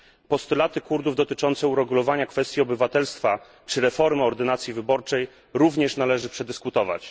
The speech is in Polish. Postulaty Kurdów dotyczące uregulowania kwestii obywatelstwa czy reformy ordynacji wyborczej również należy przedyskutować.